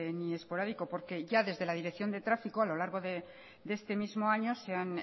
ni esporádico porque ya desde la dirección de tráfico a lo largo de este mismo año se han